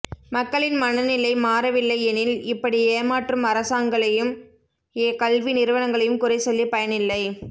மக்களின் மனநிலை மாறவில்லையெனில் இப்படி ஏமாற்றும் அரசாங்களையும் கல்வி நிறுவனங்களையும் குறை சொல்லி பயனில்லை